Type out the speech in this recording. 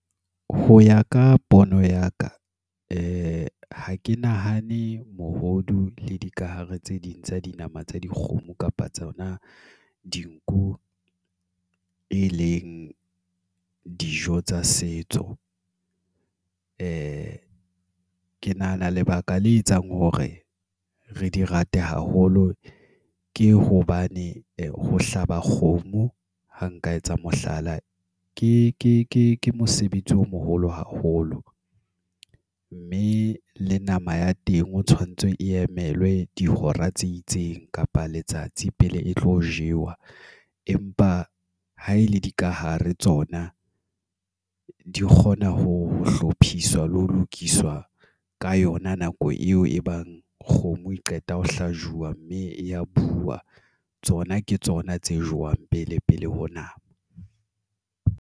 Ho ya ka pono ya ka. Ha ke nahane mohodu le dikahare tse ding tsa dinama tsa dikgomo kapa tsona dinku, e leng dijo tsa setso. Ke nahana lebaka le etsang hore re di rate haholo. Ke hobane ho hlaba kgomo ha nka etsa mohlala. Ke mosebetsi o moholo haholo. Mme le nama ya teng o tshwanetse e emelwe dihora tse itseng, kapa letsatsi pele e tlo jewa. Empa ha e le dikahare tsona, di kgona ho hlophiswa le ho lokiswa ka yona nako eo e bang kgomo e qeta ho hlajuwa, mme e ya buuwa. Tsona ke tsona tse jewang pele, pele ho nako.